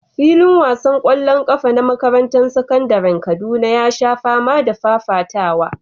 Filin wasan ƙwallon ƙafa na makarantar sakandaren Kaduna ya sha fama da fafatawa.